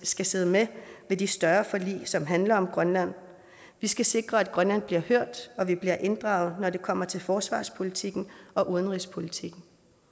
skal sidde med ved de større forlig som handler om grønland vi skal sikre at grønland bliver hørt og at vi bliver inddraget når det kommer til forsvarspolitikken og udenrigspolitikken